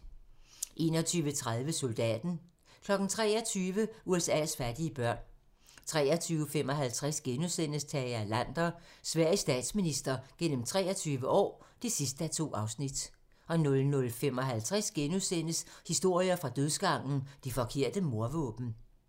21:30: Soldaten 23:00: USA's fattige børn 23:55: Tage Erlander - Sveriges statsminister gennem 23 år (2:2)* 00:55: Historier fra dødsgangen - Det forkerte mordvåben *